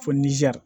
Fo nizɛri